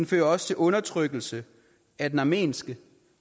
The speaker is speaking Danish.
fører også til undertrykkelse af den armenske